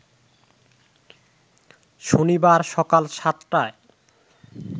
শনিবার সকাল সাতটায়